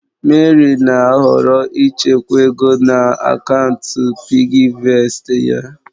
Mary na-ahọrọ ịchekwa ego na akaụntụ PiggyVestị ya.